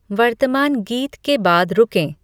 वर्तमान गीत के बाद रुकें